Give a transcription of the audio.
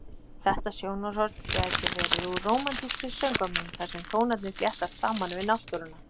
Þetta sjónarhorn gæti verið úr rómantískri söngvamynd þar sem tónarnir fléttast saman við náttúruna.